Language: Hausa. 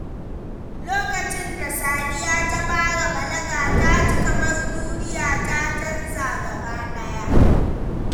Lokacin da Sadiya ta fara balaga, ta ji kamar duniya ta canza gaba ɗaya.